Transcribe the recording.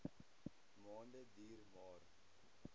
maande duur maar